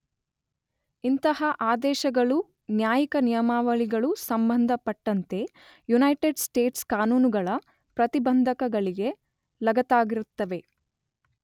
ಇಂತಹ ಆದೇಶಗಳು ನ್ಯಾಯಿಕ ನಿಯಮಾವಳಿಗಳು ಸಂಬಂಧಪಟ್ಟಂತೆ ಯುನೈಟೈಡ್ ಸ್ಟೇಟ್ಸ್ ಕಾನೂನುಗಳ ಪ್ರತಿಬಂಧಕಗಳಿಗೆ ಲಗತ್ತಾಗಿರುತ್ತವೆ.